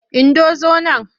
Indo zo nan!